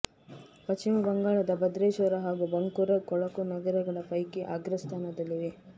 ಪಶ್ಚಿಮ ಬಂಗಾಳದ ಭದ್ರೇಶ್ವರ ಹಾಗೂ ಬಂಕೂರಾ ಕೊಳಕು ನಗರಗಳ ಪೈಕಿ ಅಗ್ರಸ್ಥಾನದಲ್ಲಿವೆ